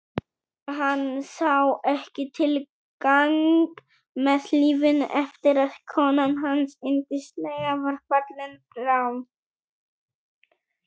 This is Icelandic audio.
Hann sá ekki tilgang með lífinu eftir að konan hans yndislega var fallin frá.